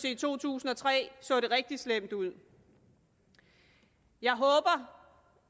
i to tusind og tre så det rigtig slemt ud jeg håber